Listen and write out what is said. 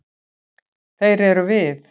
Þeir eru við.